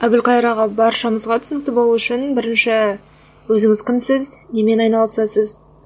әбілқайыр аға баршамызға түсінікті болу үшін бірінші өзіңіз кімсіз немен айналысасыз